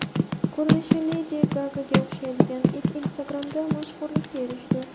Ko‘rinishi Ledi Gagaga o‘xshaydigan it Instagram’da mashhurlikka erishdi.